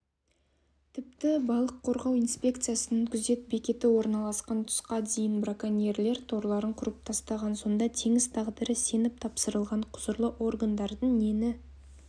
тіпті балық қорғау инспекциясының күзет бекеті орналасқан тұсқа дейін броконьерлер торларын құрып тастаған сонда теңіз тағдыры сеніп тапсырылған құзырлы органдардың нені